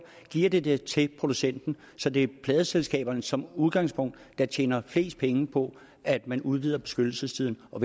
giver de den til producenten så det er pladeselskaberne der som udgangspunkt tjener flest penge på at man udvider beskyttelsestiden og